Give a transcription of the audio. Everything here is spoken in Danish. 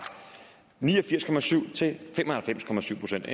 ni og firs procent til fem og halvfems procent det